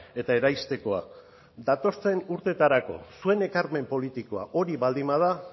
eta eraistekoa datozen urteetarako zuen ekarpen politikoa hori baldin bada